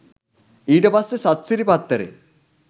ඊට පස්සෙ සත්සිරි පත්තරේ